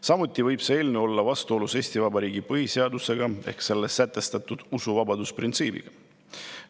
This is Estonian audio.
Samuti võib see eelnõu olla vastuolus Eesti Vabariigi põhiseadusega, täpsemalt selles sätestatud usuvabaduse printsiibiga.